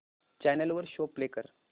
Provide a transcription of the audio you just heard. channel वर show play कर